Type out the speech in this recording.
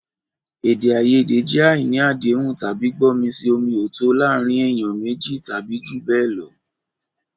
Èdè àìyedè jẹ́ àìní àdéhùn tàbí gbọ́mi-sí-omi-ò-tó o láàárín ènìyàn méjì tàbí jù bẹ́ẹ̀ lọ.